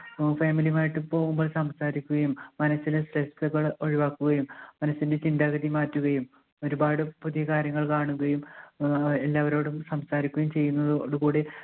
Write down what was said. നമ്മൾ family ഉം ആയിട്ട് പോകുമ്പോൾ സംസാരിക്കുകയും മനസ്സിലെ stress കൾ ഒഴിവാക്കുകയും മനസ്സിൻറെ ചിന്താഗതി മാറ്റുകയും ഒരുപാട് പുതിയ കാര്യങ്ങൾ കാണുകയും ആഹ് എല്ലാവരോടും സംസാരിക്കുകയും ചെയ്യുന്നതോടുകൂടി